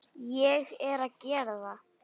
Ég er að gera það.